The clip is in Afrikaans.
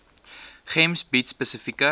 gems bied spesifieke